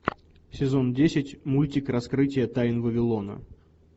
сезон десять мультик раскрытие тайн вавилона